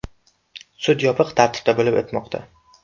Sud yopiq tartibda bo‘lib o‘tmoqda.